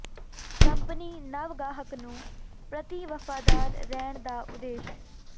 company ਨਵ ਗਾਹਕ ਨੂੰ ਪ੍ਰਤੀ ਵਫ਼ਾਦਾਰ ਰਹਿਣ ਦਾ ਉਦੇਸ਼